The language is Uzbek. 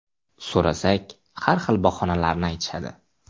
So‘rasak, har xil bahonalarni aytishadi.